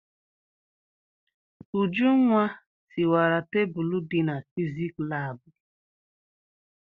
Ujunwa tiwara tebulu dị na fizik laabụ.